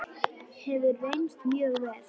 Hefur reynst mjög vel.